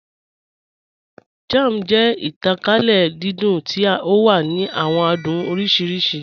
Jam jẹ̀ ìtànkálẹ̀ dídùn tí o wà ní àwọn àdùn oríṣiríṣì.